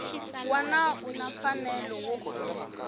wana u na mfanelo wo